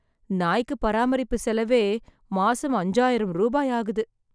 நாய்க்கு பராமரிப்பு செலவே, மாசம் அஞ்சாயிரம் ரூபாய் ஆகுது.